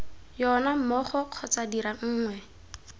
yona mmogo kgotsa dira nngwe